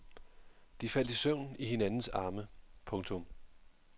De faldt i søvn i hinandens arme. punktum